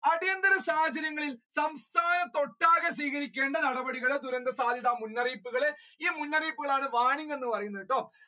അടിയന്തര സാഹചര്യങ്ങളിൽ സംസ്ഥാനത്ത് ഒട്ടാകെ സ്വീകരിക്കേണ്ട നടപടികളുടെ ദുരന്ത സാധ്യത മുന്നറിയിപ്പുകളെ ഈ മുന്നറിയിപ്പികുളെയാണ് warning എന്ന് പറയുന്നത്.